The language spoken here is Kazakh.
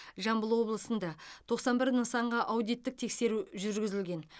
жамбыл облысында тоқсан бір нысанға аудиттік тексеру жүргізілген